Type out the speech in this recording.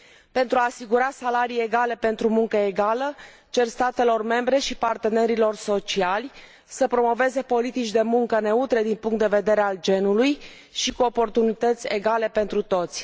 Pentru a asigura salarii egale pentru muncă egală cer statelor membre și partenerilor sociali să promoveze politici de muncă neutre din punctul de vedere al genului și cu oportunități egale pentru toți.